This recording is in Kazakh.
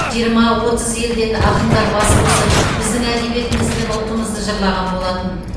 жиырма отыз елден ақындар бас қосып біздің әдебиетіміз бен ұлтымызды жырлаған болатын